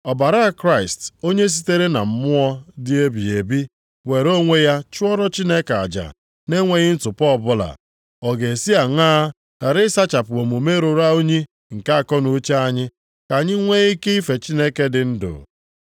Ọbara Kraịst onye sitere na Mmụọ dị ebighị ebi were onwe ya chụọrọ Chineke aja nʼenweghị ntụpọ ọbụla, ọ ga-esi aṅaa ghara ịsachapụ omume ruru unyi nke akọnuche anyị, ka anyị nwee ike ife Chineke dị ndụ.